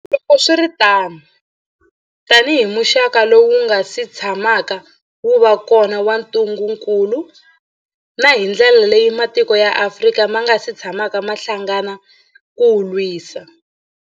Loko swi ri tano, tanihi muxaka lowu wu nga si tshamaka wu va kona wa ntu ngukulu, na hi ndlela leyi matiko ya Afrika ma nga si tshamaka ma hlangana ku wu lwisa.